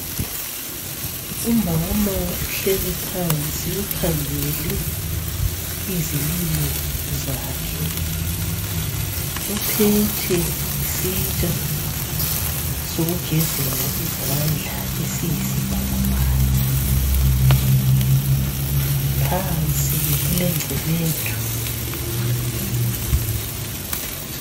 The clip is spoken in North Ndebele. uMama uhleli phansi ukhangele izilimo zakhe uphethe isitsha sokugezela izandla esiyisibhakabhaka, phansi kulengcebethu.